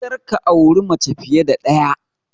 Kar ka auri mace fiye da ɗaya!